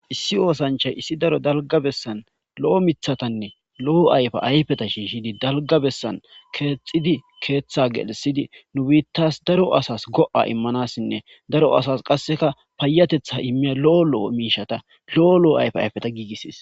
Issi oosanchay issi daro dalga bessan lo7o mithatanne lo7o ayfa ayfeta shiishidi dalga bessan keexxidi keeththa gelisidi nu biittas daro asas go7a immanassinne daro asas qasseka paayatetha immiya lo7o lo7o miishata lo7o lo7o ayfe ayfeta giigisis